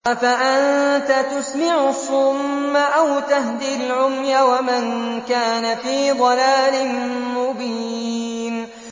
أَفَأَنتَ تُسْمِعُ الصُّمَّ أَوْ تَهْدِي الْعُمْيَ وَمَن كَانَ فِي ضَلَالٍ مُّبِينٍ